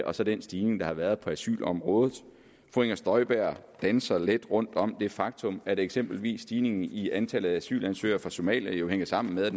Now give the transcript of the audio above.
og så den stigning der har været på asylområdet fru inger støjberg danser let rundt om det faktum at eksempelvis stigningen i antallet af asylansøgere fra somalia jo hænger sammen med at